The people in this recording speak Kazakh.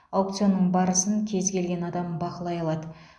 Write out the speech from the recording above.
аукционның барысын кез келген адам бақылай алады